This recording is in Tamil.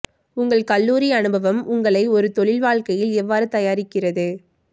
உங்கள் கல்லூரி அனுபவம் உங்களை ஒரு தொழில் வாழ்க்கையில் எவ்வாறு தயாரிக்கிறது